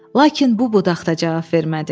Lakin bu budaq da cavab vermədi.